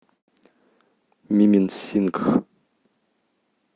мименсингх